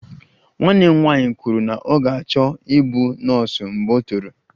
Nwanne m nwanyị kwuru na ọ ga-achọ ịbụ nọọsụ mgbe o toro